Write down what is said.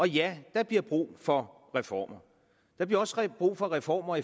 ja der bliver brug for reformer der bliver også brug for reformer